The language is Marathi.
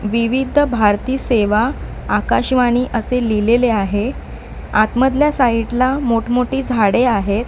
विविधभारती सेवा आकाशवाणी असे लिहिलेले आहे आत मधल्या साईट ला मोठमोठी झाडे आहेत.